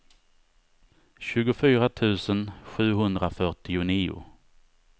tjugofyra tusen sjuhundrafyrtionio